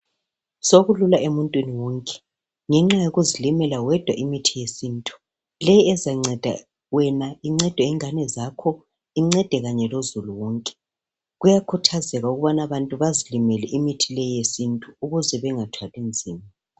Sekukula emuntwini wonke ngenxa yokuzilimela wedwa imithi yesintu leyi ezangceda wena ingcede ingani zakho ingcede kanye lozulu wonke kuyakhuthazeka ukuthi abantu bezilimele imithi leyi eyesintu ukuze abantu bengathwali nzima